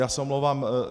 Já se omlouvám.